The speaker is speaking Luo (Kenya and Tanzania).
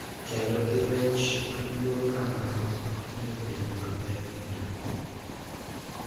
Kendo gi reach maduong’ kamano ok nyal bedo maber duto.